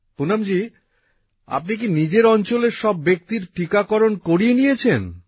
পুনমজী আপনি কি নিজের অঞ্চলের সব ব্যক্তির টিকাকরণ করিয়ে নিয়েছেন